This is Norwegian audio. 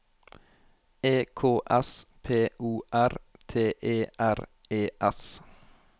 E K S P O R T E R E S